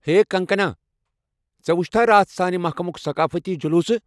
ہے کنگکنا! ژےٚ وُچھتھا راتھ سانہِ محكمُك ثقافٔتی جلوٗسہٕ ؟